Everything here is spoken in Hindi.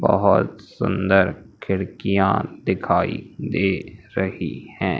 बहुत सुंदर खिड़कियां दिखाई दे रही हैं।